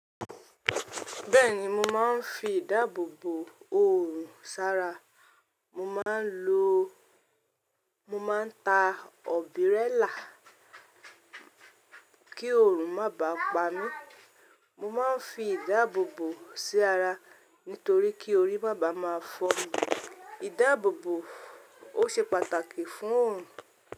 Bẹ́ẹ̀ni mo máa ń fi ìdáàbòbò òòrùn sára, mo máa ń lo, mo máa ń ta ọ̀bírélà kí òòrùn má bà pa mí. Mo máa ń fi ìdáàbòbò sí ara nítorí kí orí má bàa máa fọ́ mí. Ìdáàbòbò ó ṣe pàtàkì fún òòrùn.